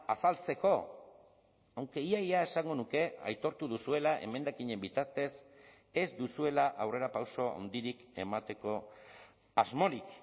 azaltzeko aunque ia ia esango nuke aitortu duzuela emendakinen bitartez ez duzuela aurrerapauso handirik emateko asmorik